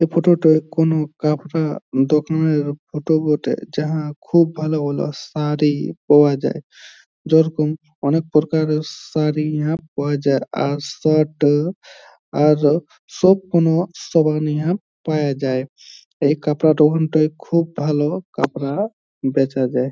এই ফোটো -টোয় কোনো কাপড়া দোকানের ফোটো বটে | যাহা খুব ভালো ভালো সারি পাওয়া যায় | যেরকম অনেক প্রকারের সারি ইহা পাওয়া যায় | আর শার্ট আর ও সব রকম সমান ইহা পায়া যায় | এই কাপড়া দোকানটাই খুব ভালো কাপড়া বেচা যায় ।